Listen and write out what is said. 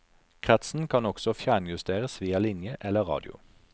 Kretsen kan også fjernjusteres via linje eller radio.